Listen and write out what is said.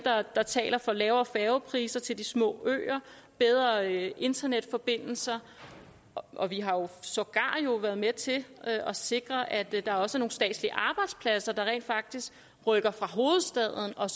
der taler for lavere færgepriser til de små øer bedre internetforbindelser og vi har jo sågar været med til at sikre at der også er nogle statslige arbejdspladser der rent faktisk rykker fra hovedstaden og